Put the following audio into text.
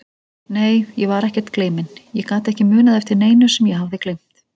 Nei, ég var ekkert gleyminn, ég gat ekki munað eftir neinu sem ég hafði gleymt.